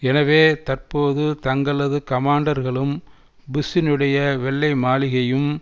எனவே தற்போது தங்களது கமாண்டர்களும் புஷ்ஷினுடைய வெள்ளை மாளிகையும்